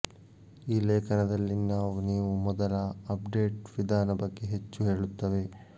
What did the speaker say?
ಈ ಲೇಖನದಲ್ಲಿ ನಾವು ನೀವು ಮೊದಲ ಅಪ್ಡೇಟ್ ವಿಧಾನ ಬಗ್ಗೆ ಹೆಚ್ಚು ಹೇಳುತ್ತವೆ